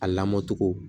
A lamɔ cogo